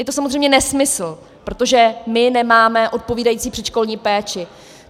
Je to samozřejmě nesmysl, protože my nemáme odpovídající předškolní péči.